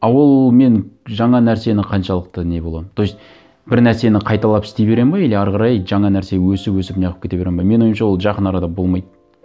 а ол мен жаңа нәрсені қаншалықты не боламын то есть бір нәрсені қайталап істей беремін бе или әрі қарай жаңа нәрсе өсіп өсіп не қылып кете беремін бе менің ойымша ол жақын арада болмайды